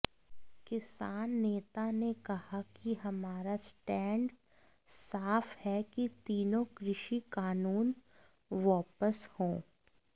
किसान नेता ने कहा कि हमारा स्टैंड साफ है कि तीनों कृषि कानून वापस हों